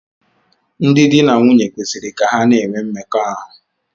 Ndị di na nwunye kwesịrị ka ha na-enwe mmekọahụ.